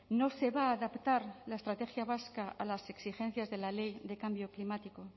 no se va a adaptar la estrategia vasca a las exigencias de la ley de cambio climático